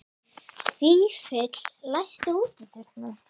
Fífill, læstu útidyrunum.